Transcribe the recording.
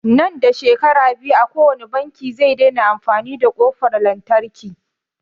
Nan da shekara biyu kowani banki zai daina amfani da ƙofar lantarki